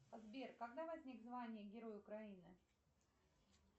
сбер когда возник звание герой украины